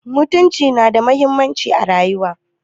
Mutunci nada muhimmanci a rayuwar.